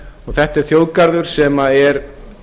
þetta er þjóðgarður sem er